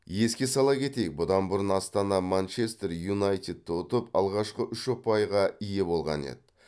еске сала кетейік бұдан бұрын астана манчестер юнайтедті ұтып алғашқы үш ұпайға ие болған еді